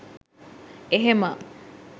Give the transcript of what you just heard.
එහෙම